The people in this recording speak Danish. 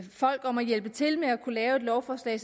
folk om at hjælpe til med at lave et lovforslag